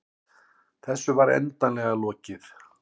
Þessu var endanlega lokið.